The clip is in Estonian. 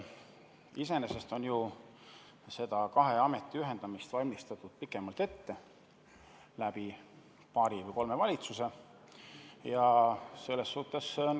Iseenesest on ju seda kahe ameti ühendamist pikemalt ette valmistatud, paari või kolme valitsuse ajal.